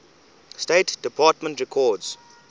state department records